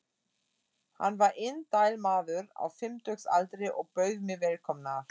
Hann var indæll maður á fimmtugsaldri og bauð mig velkomna.